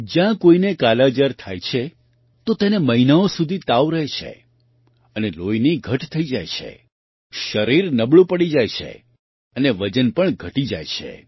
જ્યારે કોઈને કાલાજાર થાય છે તો તેને મહિનાઓ સુધી તાવ રહે છે અને લોહીની ઘટ થઈ જાય છે શરીર નબળું પડી જાય છે અને વજન પણ ઘટી જાય છે